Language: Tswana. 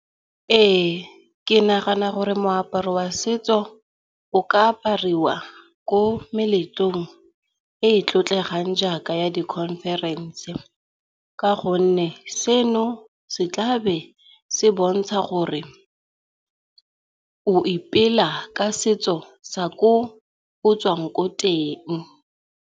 Ee ke nagana gore moaparo wa setso o ka apariwa ko meletlong e e tlotlegang jaaka di khonferense. Ka gonne seno se tlabe se bontsha gore o ipela ka setso sa ko o tswang ko teng.